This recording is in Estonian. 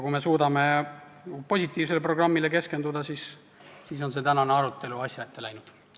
Kui me suudame positiivsele programmile keskenduda, siis on see tänane arutelu asja ette läinud.